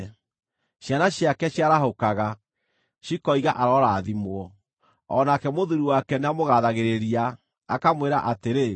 Ciana ciake ciarahũkaga, cikoiga arorathimwo; o nake mũthuuri wake nĩamũgaathagĩrĩria, akamwĩra atĩrĩ: